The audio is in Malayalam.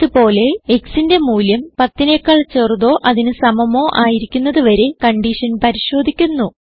ഇത് പോലെ xന്റെ മൂല്യം 10 നെക്കാൾ ചെറുതോ അതിന് സമമോ ആയിരിക്കുന്നത് വരെ കൺഡിഷൻ പരിശോധിക്കുന്നു